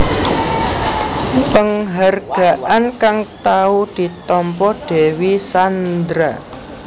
Penghargaan kang tau ditampa Dewi Sandra